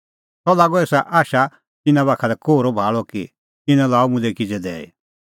सह लागअ एसा आशा तिन्नां बाखा लै कोहरअ भाल़अ कि इनै लाअ मुल्है किज़ै दैई